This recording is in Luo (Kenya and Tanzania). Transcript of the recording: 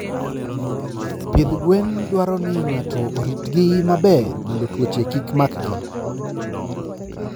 Pidh gwen dwaro ni ng'ato oritgi maber mondo tuoche kik makgi.